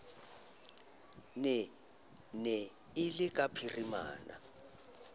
ne e le ka phirimana